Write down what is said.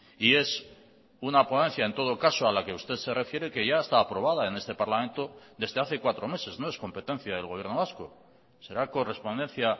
y es una ponencia en todo caso a la que usted se refiere que ya está aprobada en este parlamento desde hace cuatro meses no es competencia del gobierno vasco será correspondencia